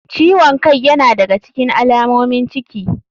Ciwon kai yana daga alamomin ciki.